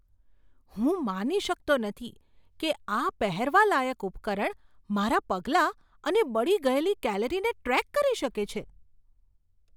હું માની શકતો નથી કે આ પહેરવાલાયક ઉપકરણ મારા પગલાં અને બળી ગયેલી કેલરીને ટ્રેક કરી શકે છે.